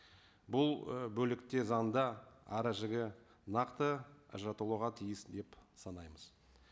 бұл ы бөлікте заңда ара жігі нақты ажыратылуға тиіс деп санаймыз